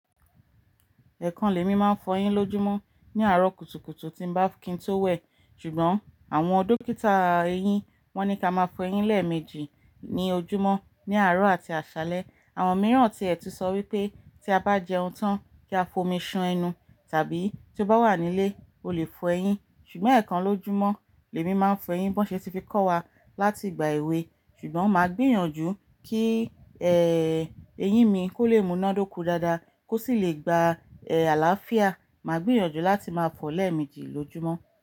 Ẹ̀ẹ̀kan lémi máa ń fọyín lójúmọ́ ní àárọ̀ kùtùkùtù tí n bá, kí n tó wẹ̀. Ṣùgbọ́n àwọn dókítà eyín wọ́n ní ká máa fọ eyín lẹ́ẹ̀mejì ní ojúmọ́, ní àárọ̀ àti àṣálẹ́. Àwọn mìíràn tíẹ̀ ti sọ wípé tí a bá jẹun tán kí a fomi ṣan ẹnu tàbí tí o bá wà nílé o le fọ eyín. Ṣùgbọ́n ẹ̀ẹ̀kan lójúmọ́ lẹ́mi máa ń fọ eyín bón ṣe ti fi kó wa látigbà èwe. Ṣùgbọ́n màá gbìyànjú kí, ẹ, eyín mi kó le múná dọ́ko dáadáa kó sì le gba, ẹ, àlàáfíà, màá gbìyànjú láti máa fọọ lẹ́ẹ̀mejì lójúmọ́.